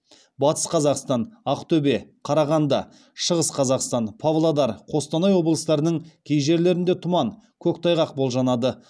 батыс қазақстан ақтөбе қарағанды шығыс қазақстан павлодар қостанай облыстарының кей жерлерінде тұман көктайғақ болжанады